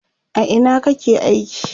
a Ina kake aiki?